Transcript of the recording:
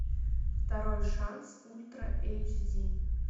второй шанс ультра эйч ди